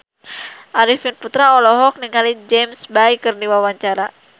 Arifin Putra olohok ningali James Bay keur diwawancara